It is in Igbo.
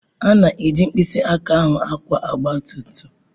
A na-eji mkpịsị aka ahụ akwọ ogba tum tum.